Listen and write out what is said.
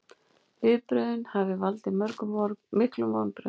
Viðbrögðin hafi valdið miklum vonbrigðum